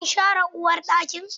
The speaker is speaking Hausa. Kin share uwarɗakin?